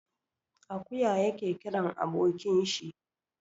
Akuya yake kiran abokin shi.